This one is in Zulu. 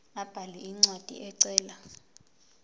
abhale incwadi ecela